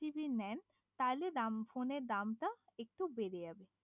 নেন তাহলে ফোনের দামটা একটু বেড়ে যাবে